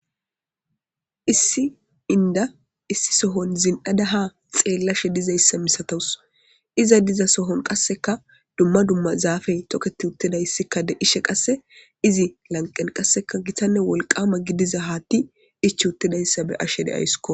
Issi inda issi sohon zin'ada ha xeellashe dizayssa misatowus iza diza sohon qasseka dumma dumma zaafey toketi uttedayssikkade ishe qasse izi lanqen qasseka gitanne wolqama gidiza haatti ich uttedayssa be ashe deaysko.